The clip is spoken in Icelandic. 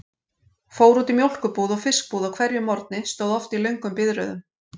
Fór út í mjólkurbúð og fiskbúð á hverjum morgni, stóð oft í löngum biðröðum.